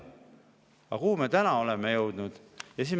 Aga kuhu me täna oleme jõudnud?